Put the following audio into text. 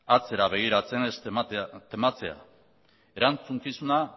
atzera begiratzen ez tematzea erantzukizuna